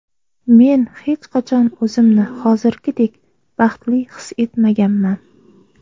Men hech qachon o‘zimni hozirgidek baxtli his etmaganman.